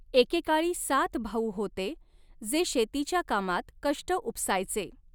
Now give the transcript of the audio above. एकेकाळी सात भाऊ होते, जे शेतीच्या कामात कष्ट उपसायचे.